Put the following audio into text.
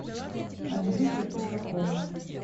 андрюши ушакова